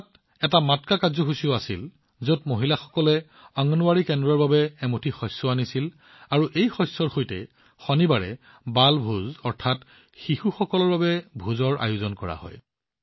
তাত এটা মাটকা কাৰ্যসূচীও আছিল যত মহিলাসকলে অংগনৱাড়ী কেন্দ্ৰৰ বাবে এমুঠি শস্য আনিছিল আৰু এই শস্যৰ সৈতে শনিবাৰে বালভোজ আয়োজন কৰা হয়